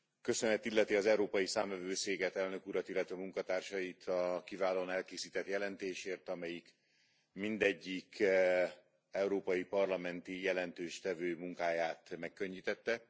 Köszönet illeti az Európai Számvevőszéket, Elnök Urat, illetve munkatársait a kiválóan elkészített jelentésért, amelyik mindegyik európai parlamenti jelentéstevő munkáját megkönnyítette.